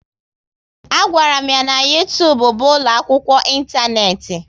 A gwara m ya na YouTube bụ ụlọ akwụkwọ intaneti